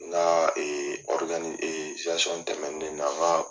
N ka tɛmɛnen na